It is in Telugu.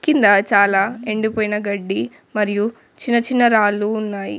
కింద చాలా ఎండిపోయిన గడ్డి మరియు చిన్న చిన్న రాళ్ళు ఉన్నాయి.